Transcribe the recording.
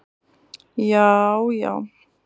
jaajá